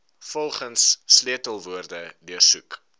volgens sleutelwoorde deursoek